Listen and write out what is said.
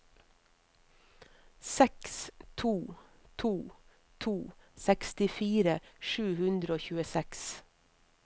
seks to to to sekstifire sju hundre og tjueseks